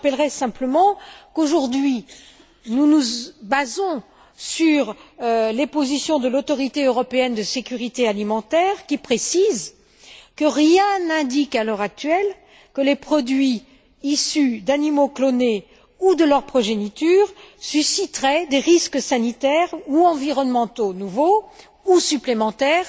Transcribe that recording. Je rappellerai simplement qu'aujourd'hui nous nous basons sur les positions de l'Autorité européenne de sécurité alimentaire, qui précise que rien n'indique à l'heure actuelle que les produits issus d'animaux clonés ou de leur progéniture susciteraient des risques sanitaires ou environnementaux nouveaux ou supplémentaires